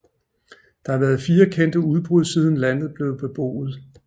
Der har været fire kendte udbrud siden landet blev beboet